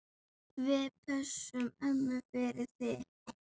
Við pössum ömmu fyrir þig.